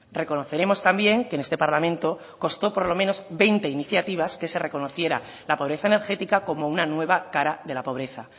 reconoceremos también que en este parlamento costó por lo menos veinte iniciativas que se reconociera la pobreza energética como una nueva cara de la pobreza